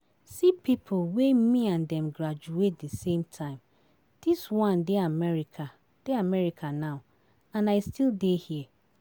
See people wey me and dem graduate the same time, dis one dey America dey America now and I still dey here